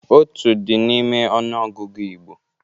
Otu dị n'ime ọnụ ọgụgụ Igbo.